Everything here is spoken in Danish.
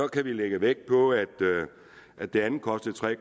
kan vi lægge vægt på at det andet kostede tre